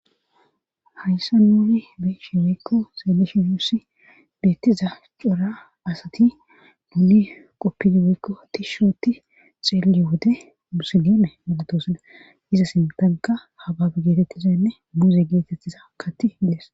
hayssa nuuni beshe weykko xeelishi ussi beettiza cora asati muuli qoppidi weykko tishshooti xeele wode musilime malatosuda iza sintanka hababe geetettizenne muze geetettiza katti dees